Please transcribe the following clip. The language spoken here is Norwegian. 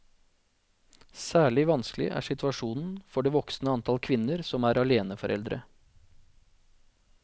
Særlig vanskelig er situasjonen for det voksende antall kvinner som er aleneforeldre.